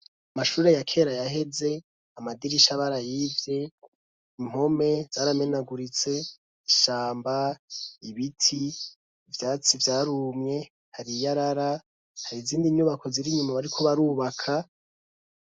Amashure ya kera yaheze amadirisha barayivye impome zaramenaguritse ishamba ibiti ivyatsi vyarumye hari iyarara hari izindi nyubako zir'inyuma bariko barubaka